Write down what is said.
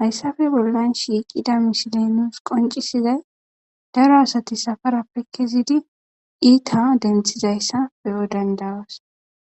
Haysape bollan shiqida misiley nus qoncisizay daro asati safarape kezidi it's denthizaysa be'os